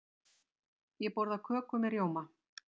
Ég borða köku með rjóma.